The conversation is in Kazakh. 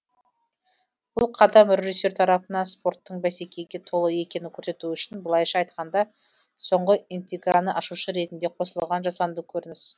бұл қадам режиссер тарапынан спорттың бәсекеге толы екенін көрсету үшін былайша айтқанда соңғы интиграны ашушы ретінде қосылған жасанды көрініс